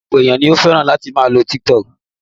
Ọ̀pọ̀lọpọ̀ ènìyàn ni ó fẹ́ràn láti máa lo TikTok